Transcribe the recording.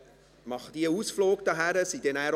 Sie machen diesen Ausflug jedes Jahr.